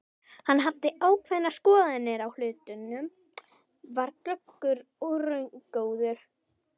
Hann hafði ákveðnar skoðanir á hlutunum, var glöggur og raungóður.